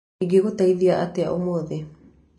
Ingĩgũteithia atĩa ũmũthĩ?